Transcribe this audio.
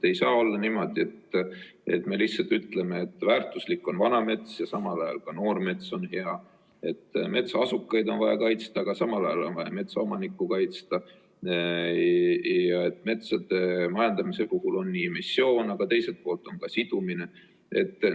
Ei saa olla niimoodi, et me lihtsalt ütleme, et väärtuslik on vana mets ja samal ajal ka noor mets on hea, et metsaasukaid on vaja kaitsta, aga samal ajal on vaja metsaomanikku kaitsta ja et metsade majandamise puhul on emissioon, aga teiselt poolt on ka sidumine.